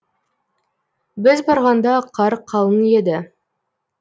біз барғанда қар қалың еді